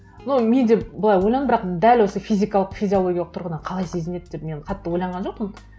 но мен де былай ойландым бірақ дәл осы физикалық физиологиялық тұрғыдан қалай сезінеді деп мен қатты ойланған жоқпын